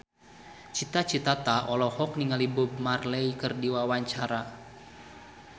Cita Citata olohok ningali Bob Marley keur diwawancara